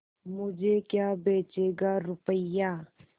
मुझे क्या बेचेगा रुपय्या